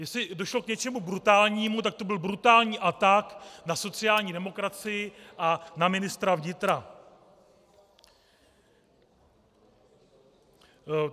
Jestli došlo k něčemu brutálnímu, tak to byl brutální atak na sociální demokracii a na ministra vnitra.